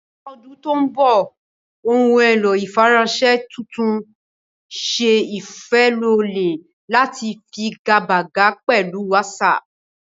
Ní ọdún tó ń bọ̀, ohun èlò ìfiránṣẹ́ tuntun ń ṣe ìfilọ́lẹ̀ láti figagbága pẹ̀lú WhatsApp.